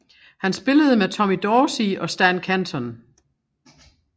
Han spillede med Tommy Dorsey og Stan Kenton